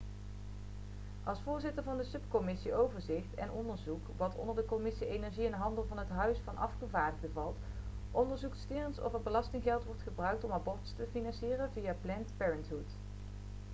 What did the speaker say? als voorzitter van de subcommissie overzicht en onderzoek wat onder de commissie energie en handel van het huis van afgevaardigden valt onderzoekt stearns of er belastinggeld wordt gebruikt om abortussen te financieren via planned parenthood